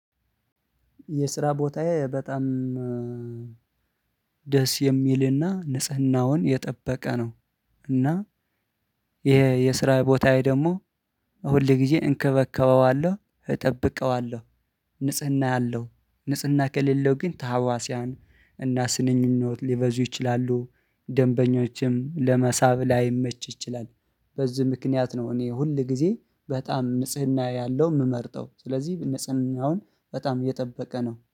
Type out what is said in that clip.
የስራ ቦታዬ በጣም ደስ የሚልና ንጽህናውን የጠበቀ ነው። እና ይሄ የስራ ቦታዬ ደግሞ ሁል ጊዜ እንከበከበዋለሁ እጠብቀዋለሁ። ንጽህና ያለው ንጽህና ከሌለው ግን ታዋስያን እና ስንኝነት ሊበዙ ይችላሉ ደንበኞችም ለመሳብ ላይመች ይችላል። በዚህ ምክንያት ነው እኔ ሁል ጊዜ በጣም ንጽህና ያለው የምመርጠው። ስለዚህ ንጽህናውን በጣም እየጠበቀ ነው